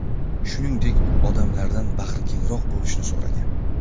Shuningdek, u odamlardan bag‘rikengroq bo‘lishni so‘ragan.